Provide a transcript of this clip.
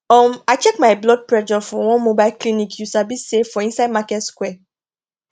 um i check my blood pressure for one mobile clinicyou sabi say for inside market square